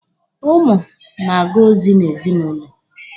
Ụmụ na-aga ozi n'ezinụlọ.